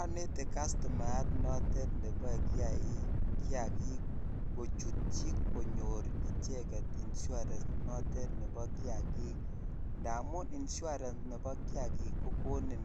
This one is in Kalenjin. Onete custumayat noton neboen kiiaik kiyakik kochutyi konyo icheget insurance notin nebo kiyakikindamun insurance nebo kiyakik kokonin